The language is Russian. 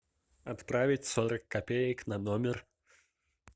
отправить сорок копеек на номер